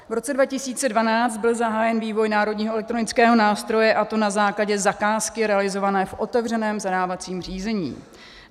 V roce 2012 byl zahájen vývoj Národního elektronického nástroje, a to na základě zakázky realizované v otevřeném zadávacím řízení.